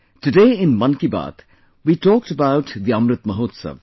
today in 'Mann Ki Baat' we talked about Amrit Mahotsav